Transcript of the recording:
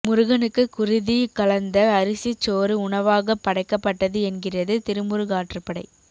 முருகனுக்குக் குருதி கலந்த அரிசிச் சோறு உணவாகப் படைக்கப்பட்டது என்கிறது திருமுருகாற்றுப்படை